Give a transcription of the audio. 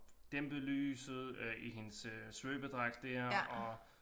Dæmpet lyset øh i hendes øh svøbedragt der og